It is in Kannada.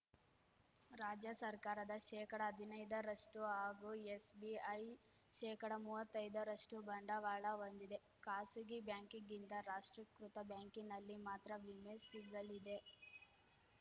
ರಾಜ್ಯ ಸರ್ಕಾರದ ಶೇಕಡ ಹದಿನೈದರಷ್ಟುಹಾಗೂ ಎಸ್‌ಬಿಐ ಶೇಕಡ ಮುವತ್ತೈದರಷ್ಟುಬಂಡವಾಳ ಹೊಂದಿದೆ ಖಾಸಗಿ ಬ್ಯಾಂಕಿಗಿಂತ ರಾಷ್ಟೀಕೃತ ಬ್ಯಾಂಕಿನಲ್ಲಿ ಮಾತ್ರ ವಿಮೆ ಸಿಗಲಿದೆ